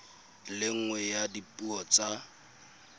le nngwe ya dipuo tsa